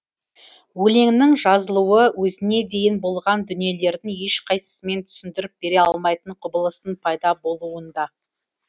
өлеңнің жазылуы өзіне дейін болған дүниелердің ешқайсысымен түсіндіріп бере алмайтын құбылыстың пайда болуында